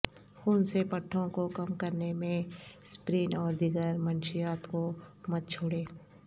خون سے پٹھوں کو کم کرنے میں اسپرین اور دیگر منشیات کو مت چھوڑیں